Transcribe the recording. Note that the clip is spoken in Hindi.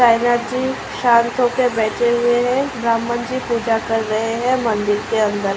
सांई नाथ जी शांत होकर बैठे हुए है। ब्राह्मण जी पूजा कर रहे है मंदिर के अंदर।